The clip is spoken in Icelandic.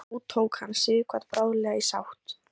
þó tók hann sighvat bráðlega í sátt